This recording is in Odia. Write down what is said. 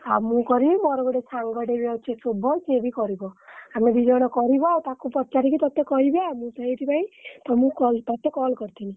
ଆ~ ମୁଁ କରିବି ମୋର ଗୋଟେ ସାଙ୍ଗ ଟେ ବି ଅଛି ଶୁଭ ସିଏ ବି କରିବ ଆମେ ଦି ଜଣ କରିବା ଆଉ ତାକୁ ପଚାରିକି ତତେ କହିବି ଆଉ ମୁଁ ସେଇଥିପାଇଁ ତମକୁ call ତତେ call କରିଥିଲି।